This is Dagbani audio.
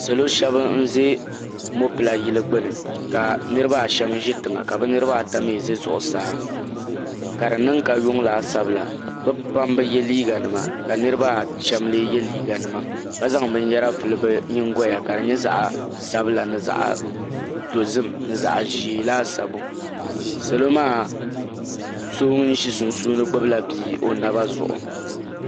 salo shab n ʒɛ mopila yili gbuni ka niraba ahɛm ʒi tiŋa ka bi niraba ayi mii ʒi zuɣusaa ka di niʋ ka yuŋ laasabu la bi pam bi yɛ liiga nima ka niraba ashɛm lee yɛ liiga nima ka zaŋ binyɛra vuli bi nyingoya ka di nyɛ zaɣ sabila ni zaɣ dozim bi zaɣ ʒiɛ laasabu salo maa so ŋun ʒi sunsuuni gbubila bia o naba zuɣu